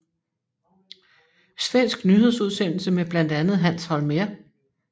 Svensk nyhedsudsendelse med blandt andet Hans Holmér